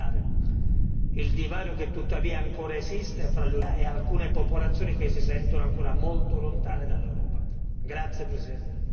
Confidiamo che la prossima legislatura possa saldare il divario che tuttavia ancora esiste fra l'Unione europea e alcune popolazioni che si sentono ancora molto lontane dall'Europa.